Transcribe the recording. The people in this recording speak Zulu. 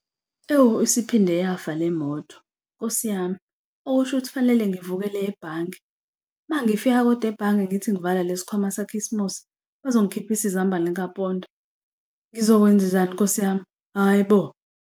Ewu isiphinde yafa lemoto, nkosi yami, okusho ukuthi kufanele ngivukele ebhange. Uma ngifika kodwa ebhange ngithi ngivala lesikhwama sakhisimusi, bazongikhiphisa izambane likapondo. Ngizokwenzenjani nkosi yami, hhayi bo?